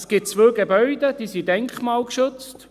Zwei Gebäude sind denkmalgeschützt.